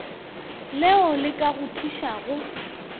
leo le ka go thušago